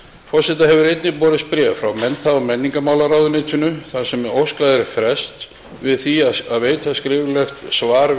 forseta hefur einnig borist bréf frá mennta og menningarmálaráðuneytinu þar sem óskað er frests við því að veita skriflegt svar